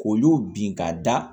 K'olu bin ka da